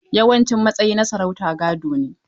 Yawancin matsayi na sarauta gado ne.